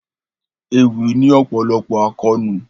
Ewì ní ọ̀pọ̀lọpọ̀ àkóónú.